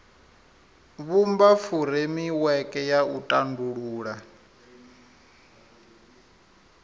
vhumba furemiweke ya u tandulula